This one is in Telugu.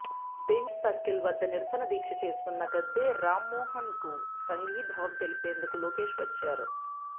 బెంజ్ సర్కిల్ వద్ద నిరసన దీక్ష చేస్తున్న గద్దె రామ్మోహన్కు సంఘీభావం తెలిపేందుకు లోకేష్ వచ్చారు